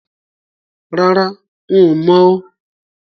Rárá, n ò mọ̀ o